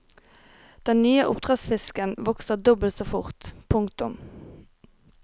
Den nye oppdrettsfisken vokser dobbelt så fort. punktum